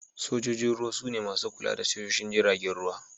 Sojan Ruwa su ne masu kula da tashoshin jiragen ruwa.